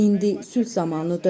İndi sülh zamanıdır.